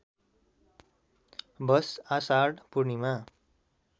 वष आषाढ पूर्णिमा